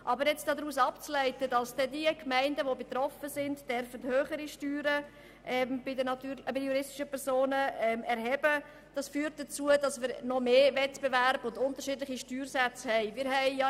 Aber jetzt davon abzuleiten, dass dann die betroffenen Gemeinden höhere Steuern bei den juristischen Personen erheben dürfen, wird zu noch mehr Wettbewerb und unterschiedlichen Steuersätze führen.